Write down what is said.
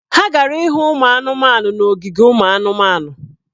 Ha gara ịhụ ụmụ anụmanụ n’ogige ụmụ anụmanụ.